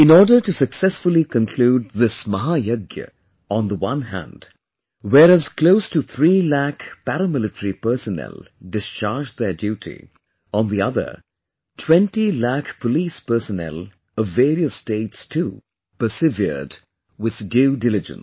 In order to successfully conclude this 'Mahayagya', on the one hand, whereas close to three lakh paramilitary personnel discharged their duty; on the other, 20 lakh Police personnel of various states too, persevered with due diligence